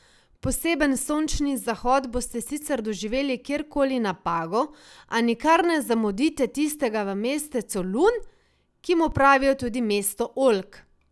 Poseben sončni zahod boste sicer doživeli kjerkoli na Pagu, a nikar ne zamudite tistega v mestecu Lun, ki mu pravijo tudi mesto oljk.